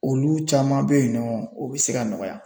Olu caman bɛyinnɔ u bɛ se ka nɔgɔya.